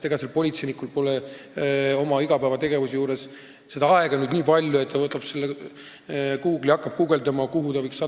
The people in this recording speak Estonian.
Ega politseinikul pole oma igapäevategevuses aega nüüd nii palju, et ta võtab Google'i lahti ja hakkab guugeldama, kuhu see inimene võiks minna.